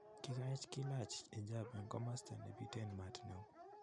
Kikaech kilach hijab en komosta nepiten mat neo